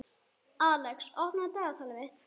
Alex, opnaðu dagatalið mitt.